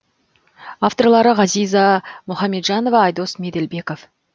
авторлары ғазиза мұхамеджанова айдос меделбеков